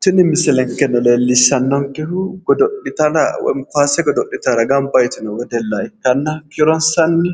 tini misilenkeno leellishshannonkehu godo'litara woy kaase godo'litara gamba yitino wedella ikitanna kiironssanni